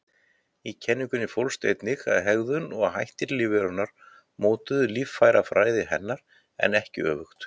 Í kenningunni fólst einnig að hegðun og hættir lífverunnar mótuðu líffærafræði hennar, en ekki öfugt.